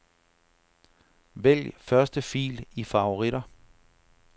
Vælg første fil i favoritter.